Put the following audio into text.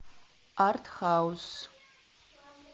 артхаус